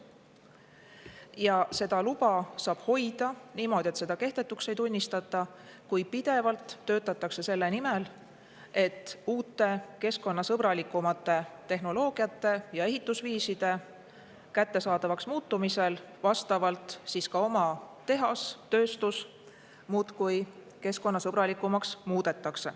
Ja seda luba saab hoida nii, et seda kehtetuks ei tunnistata, kui pidevalt töötatakse selle nimel, et uute keskkonnasõbralikumate tehnoloogiate ja ehitusviiside kättesaadavaks muutumisel muudetakse vastavalt ka oma tehast, tööstust muudkui keskkonnasõbralikumaks.